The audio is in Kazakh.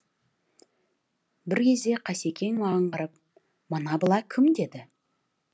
бір кезде қасекең маған қарап мына бала кім деді